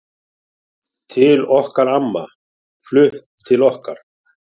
Til okkar amma, flutt til okkar.